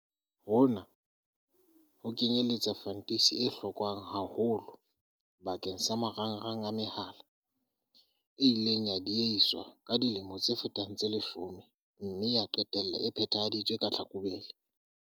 Hona ho kenyeletsa fantisi e hlokwang haholo bakeng sa marangrang a mehala, e ileng ya diehiswa ka dilemo tse fetang tse leshome mme ya qetella e phethahaditswe ka Tlhakubele.